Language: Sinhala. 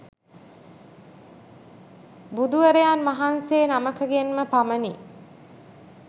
බුදුවරයන් වහන්සේ නමකගෙන් ම පමණි.